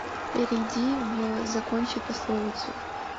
перейди в закончи пословицу